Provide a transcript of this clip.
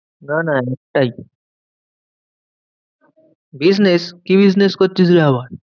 না না একটাই। business কি business করছিস রে আবার?